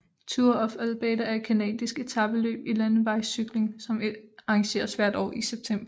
Tour of Alberta er et canadisk etapeløb i landevejscykling som arrangeres hvert år i september